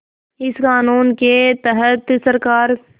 इस क़ानून के तहत सरकार